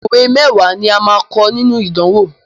Òwe mẹ́wàá ni a máa kọ nínú ìdánwò.